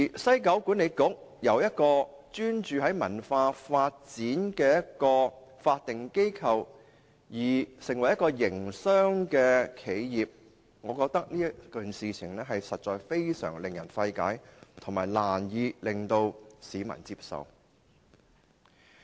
西九管理局由一個專注於文化發展的法定機構變成一個營商企業，我認為實在令人費解，市民也難以接受。